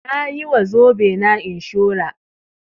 Nayi wa zobe na inshurar